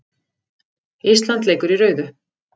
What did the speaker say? Ísland leikur í rauðu